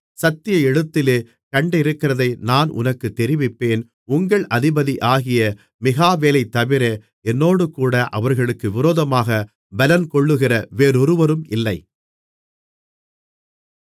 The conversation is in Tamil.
சத்திய எழுத்திலே கண்டிருக்கிறதை நான் உனக்குத் தெரிவிப்பேன் உங்கள் அதிபதியாகிய மிகாவேலைத் தவிர என்னோடேகூட அவர்களுக்கு விரோதமாகப் பலங்கொள்ளுகிற வேறொருவரும் இல்லை